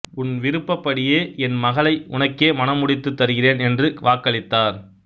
உன் விருப்படியே என் மகளை உனக்கே மணம் முடித்து தருகிறேன் என்று வாக்களித்தார்